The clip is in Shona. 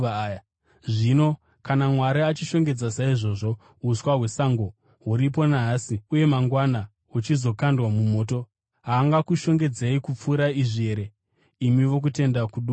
Zvino kana Mwari achishongedza saizvozvo uswa hwesango huripo nhasi uye mangwana huchizokandwa mumoto, haangakushongedzei kupfuura izvi here, imi vokutenda kuduku?